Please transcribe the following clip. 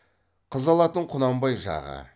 қыз алатын құнанбай жағы